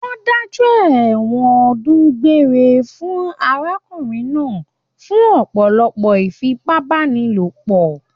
Wọ́n dájọ́ ẹ̀wọ̀n ọdún gbére fún arákùnrin náà fún ọ̀pọ̀lọpọ̀ ìfipábánilò.